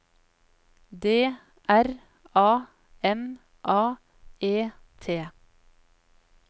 D R A M A E T